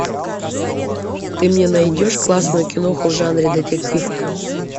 ты мне найдешь классную киноху в жанре детектив